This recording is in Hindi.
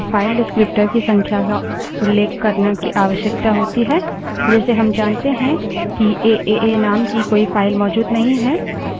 केवल फर्क यह है कि इस मामले में हमें> या>> चिन्ह के पहले स्टैंडर्डएर्रर stderr के file descriptor की संख्या को उल्लेख करने की आवश्यकता होती है